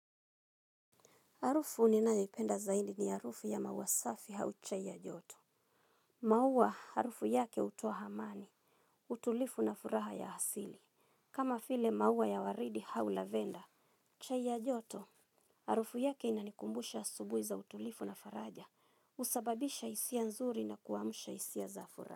Harufu ninayoipenda sana ni harufu ya maua safi au chai ya joto. Maua harufu yake utoa hamani, utulifu na furaha ya asili. Kama file maua ya waridi hau lavenda. Chai ya joto. Harufu yake inanikumbusha asubui za utilifu na faraja. Usababisha isia nzuri na kuamusha isia za furaha.